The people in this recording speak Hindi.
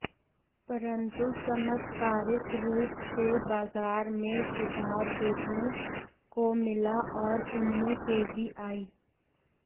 परंतु चमत्कारिक रूप से बाजार में सुधार देखने को मिला और उनमें तेजी आई